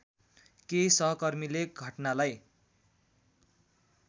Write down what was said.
केही सहकर्मीले घटनालाई